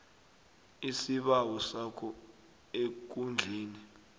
isibawo sakho ekundleni